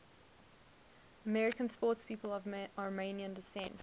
american sportspeople of armenian descent